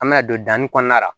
An bɛna don danni kɔnɔna la